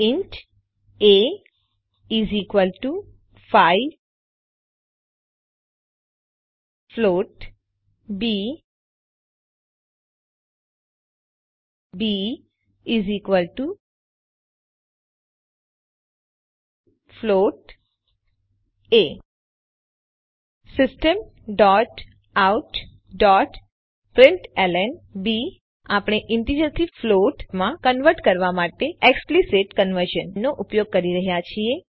int a 5 float b b float a systemoutપ્રિન્ટલન આપણે ઈન્ટીજરથી ફ્લોટમાં કન્વર્ટ કરવા માટે એક્સપ્લિક્ટ કન્વર્ઝનનો ઉપયોગ કરી રહ્યા છીએ